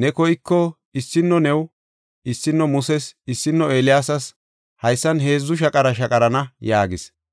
Ne koyko issino new, issino Muses, issino Eeliyaasas haysan heedzu shaqara shaqarana” yaagis.